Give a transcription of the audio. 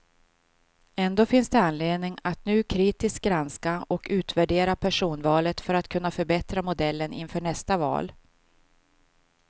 Ändå finns det anledning att nu kritiskt granska och utvärdera personvalet för att kunna förbättra modellen inför nästa val.